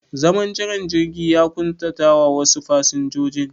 Zaman jiran jirgi ya ƙuntatawa wasu fasinjojin